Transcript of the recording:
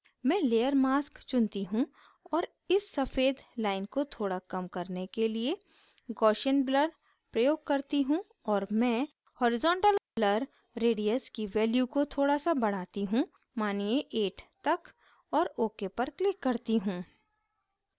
मैं layer mask चुनती हूँ और इस सफ़ेद line को थोड़ा कम करने के लिए gaussian blur प्रयोग करती हूँ और मैं horizontal blur radius की value को थोड़ा सा बढ़ाती हूँ मानिये 8 तक और ok पर click करती हूँ